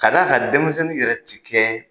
K'a d'a kan denmisɛnnin yɛrɛ ti kɛ